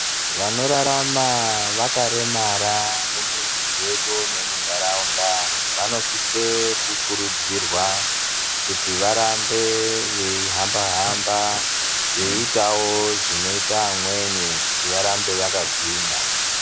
Vanorarama vakaremara mumizi dzedu nemunharaunda vanosise kurudzirwa kuti varambe veihamba-hamba veiitawo zvinoite vamweni kuti varambe vakagwinya.